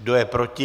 Kdo je proti?